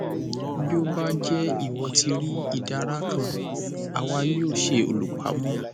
bí ó bá jẹ ìwọ ti rí ìdàrà kan àwa yóò ṣe olùpamọ